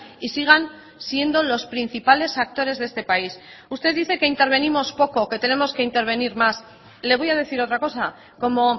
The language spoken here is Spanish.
y sigan siendo los principales actores de este país usted dice que intervenimos poco que tenemos que intervenir más le voy a decir otra cosa como